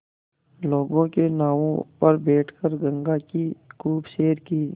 लोगों के नावों पर बैठ कर गंगा की खूब सैर की